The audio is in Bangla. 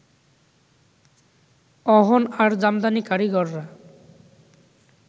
অহন আর জামদানি কারিগররা